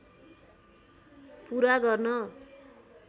पुरा गर्न